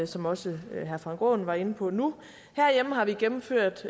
som også herre frank aaen var inde på nu herhjemme har vi gennemført